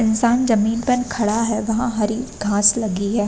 इंसान जमीन पर खड़ा है। वहाँ हरी घास लगी है।